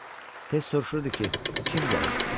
Tez soruşurdu ki, kim gəlib?